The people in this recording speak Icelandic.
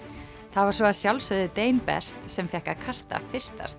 það var svo að sjálfsögðu best sem fékk að kasta fyrsta